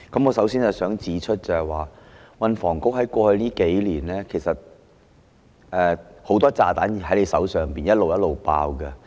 我首先要指出的是，運房局在過去數年手上很多炸彈陸續爆炸。